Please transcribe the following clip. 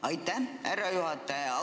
Aitäh, härra juhataja!